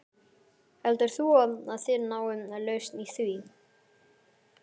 Heldur þú að þið náið lausn í því?